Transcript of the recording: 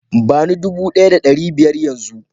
ba ni dude Daya da dari daya da biyar Yan zun